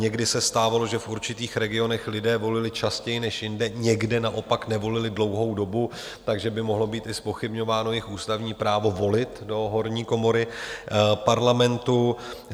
Někdy se stávalo, že v určitých regionech lidé volili častěji než jinde, někde naopak nevolili dlouhou dobu, takže by mohlo být i zpochybňováno jejich ústavní právo volit do horní komory Parlamentu.